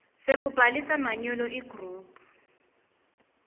sekubhalisa manyolo igroup